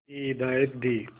की हिदायत दी